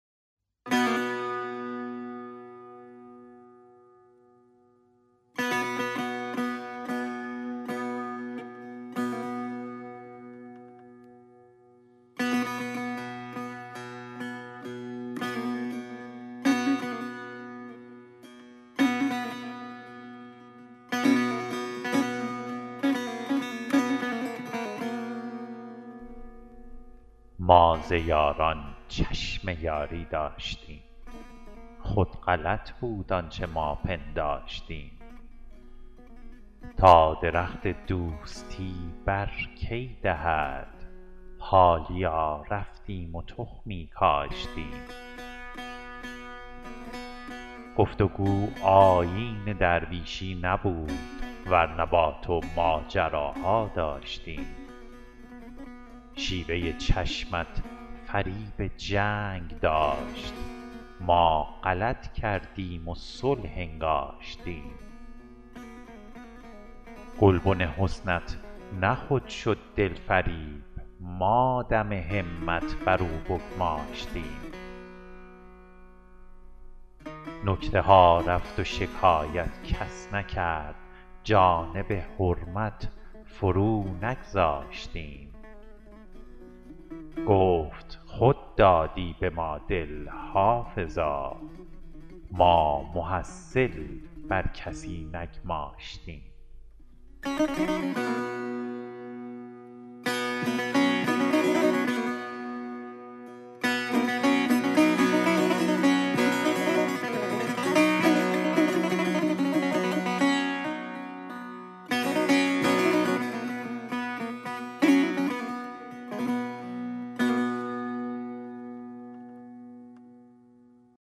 ما ز یاران چشم یاری داشتیم خود غلط بود آنچه ما پنداشتیم تا درخت دوستی بر کی دهد حالیا رفتیم و تخمی کاشتیم گفت و گو آیین درویشی نبود ور نه با تو ماجراها داشتیم شیوه چشمت فریب جنگ داشت ما غلط کردیم و صلح انگاشتیم گلبن حسنت نه خود شد دلفروز ما دم همت بر او بگماشتیم نکته ها رفت و شکایت کس نکرد جانب حرمت فرو نگذاشتیم گفت خود دادی به ما دل حافظا ما محصل بر کسی نگماشتیم